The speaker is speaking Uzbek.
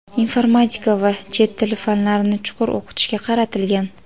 informatika va chet tili fanlarini chuqur o‘qitishga qaratilgan.